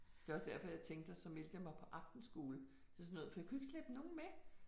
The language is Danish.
Det er også derfor jeg tænkte at så meldte jeg mig på aftenskole til sådan noget for jeg kunne ikke slæbe nogen med